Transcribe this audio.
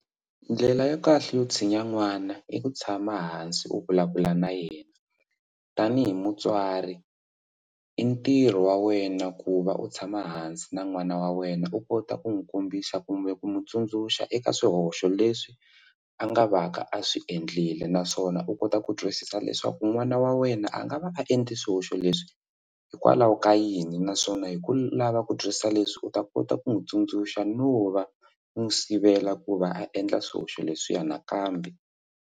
Ndlela ya kahle yo tshinya n'wana i ku tshama hansi u vulavula na yena tanihi mutswari i ntirho wa wena ku va u tshama hansi na n'wana wa wena u kota ku n'wi kombisa kumbe ku n'wi tsundzuxa eka swihoxo leswi a nga va ka a swi endlile naswona u kota ku twisisa leswaku n'wana wa wena a nga va a endli swihoxo leswi hikwalaho ka yini naswona hi ku lava ku twisisa leswi u ta kota ku n'wi tsundzuxa no va n'wi sivela ku va a endla swihoxo leswiya nakambe.